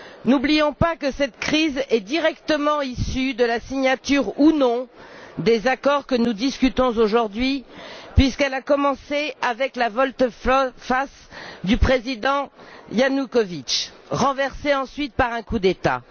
N'oublions pas que cette crise est directement issue de la signature ou non des accords que nous discutons aujourd'hui, puisqu'elle a commencé avec la volte face du Président Ianoukovitch, renversé ensuite par un coup d'état.